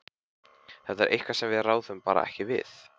Þetta er eitthvað sem við ráðum bara ekki við.